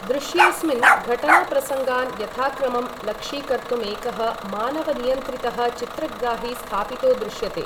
दृश्येस्मिन् घटनाप्रसङ्गान् यथाक्रमं लक्षीकर्तुमेकः मानवनियन्त्रितः चित्रग्राही स्थापितो दृश्यते।